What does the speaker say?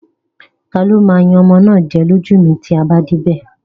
Tani ó máa yan ọmọ náà jẹ lójú mi tí a bá dé ibè?